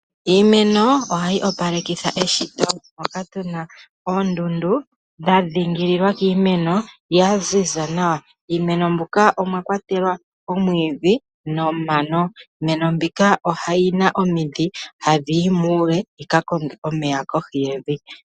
Iimeno ohayi opalekitha eshito moka tuna oondundu dha dhingililwa kiimeno dha ziza nawa. Iimeno mbika omwa kwatelwa oomwiidhi nomano. Iimeno mbika oyina omidhi hadhi yi muule dhika nane omeya kohi yevi.